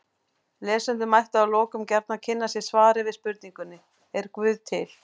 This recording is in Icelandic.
Lesendur mættu að lokum gjarnan kynna sér svarið við spurningunni Er guð til?